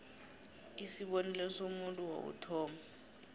isibonelo somuntu wokuthoma